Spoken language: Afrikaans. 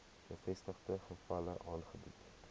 bevestigde gevalle aangebied